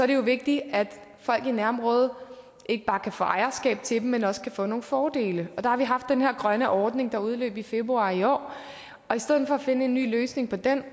det jo vigtigt at folk i nærområdet ikke bare kan få ejerskab til dem men også kan få nogle fordele der har vi haft den her grønne ordning der udløb i februar i år og i stedet for at finde en ny løsning på den